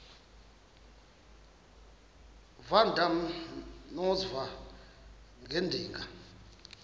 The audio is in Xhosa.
uadam noeva ngedinga